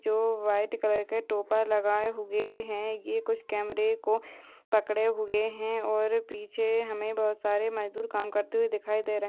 जो white colour के टोपर लगाए हुए है ये कुछ कैमरा को पकड़े हुए है और पीछे हमें बहुत सारे मजदूर काम करते हुए दिखाई दे रहे।